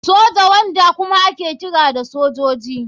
Soja, wanda kuma ake kira da sojoji.